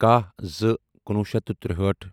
کَہہ زٕ کُنوُہ شیٚتھ تہٕ ترٛہٲٹھ